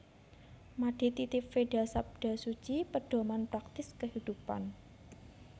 Made Titib Veda Sabda Suci Pedoman Praktis Kehidupan